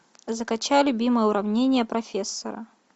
закачай любимое уравнение профессора